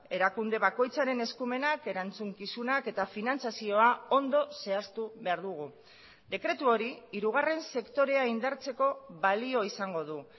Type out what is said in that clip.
erakunde bakoitzaren eskumenak erantzukizunak eta finantzazioa ondo zehaztu behar dugu dekretu hori hirugarren sektorea indartzeko balio izango du